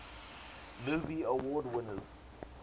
movie award winners